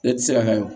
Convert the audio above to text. E tɛ se ka wo